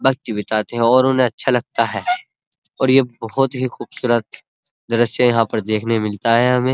वक्त बिताते हैं और उन्हें अच्छा लगता है और ये बहुत ही खूबसूरत दृश्य यहाँ पर देखने मिलता है हमें।